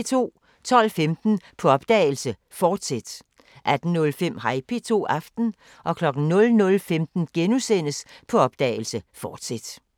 12:15: På opdagelse – Forsæt 18:05: Hej P2 – Aften 00:15: På opdagelse – Forsæt *